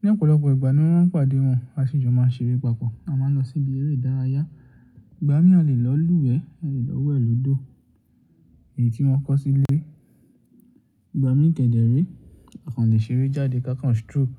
Ni ọ̀pọ̀lọpọ̀ ìgbà ni mo máa ń pàdé wọn, a sì jọ máa ń ṣeré papọ̀. A máa ń lọ síbi eré ìdárayá. Ìgbà mí à lé lọ lúwẹ̀ẹ́, a lè lọ wẹ̀ lọ́dọ̀ èyí tí wọ́n kọ̀ sílé. Ìgbà mí kẹ̀dẹ̀ re, a kàn lè ṣeré jáde ká kàn stroll.